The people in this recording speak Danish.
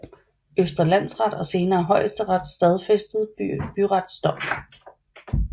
Østre Landsret og senere Højesteret stadfæstede byrets dom